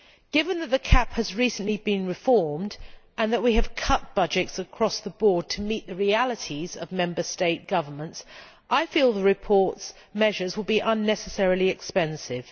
Given that the CAP has recently been reformed and that we have cut budgets across the board to meet the realities of Member State governments, I feel that the report's measures will be unnecessarily expensive.